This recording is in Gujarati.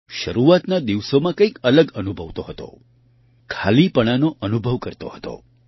શરૂઆતના દિવસોમાં કંઈક અલગ અનુભવતો હતો ખાલીપણાનો અનુભવ કરતો હતો